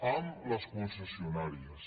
amb les concessionàries